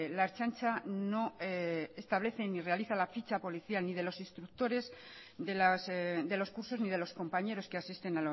la ertzaintza no establece ni realiza la ficha policial ni de los instructores de los cursos ni de los compañeros que asisten